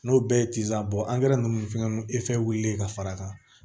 N'o bɛɛ ye ninnu fɛngɛ wulilen ka far'a kan